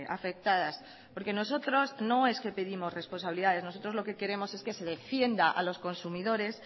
afectadas porque nosotros no es que pedimos responsabilidades nosotros lo que queremos es que se defienda a los consumidores